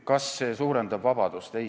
Kas see muudatus suurendab vabadust?